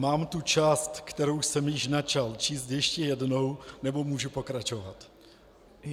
Mám tu část, kterou jsem již načal, číst ještě jednou, nebo můžu pokračovat?